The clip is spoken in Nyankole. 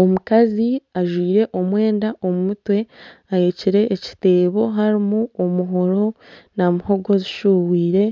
Omukazi ajwire omwenda omu mutwe ahekyire ekiteebo harimu omuhoro na muhogo zishubwire